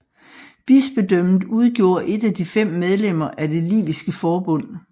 Bispedømmet udgjorde et af de fem medlemmer af det Liviske Forbund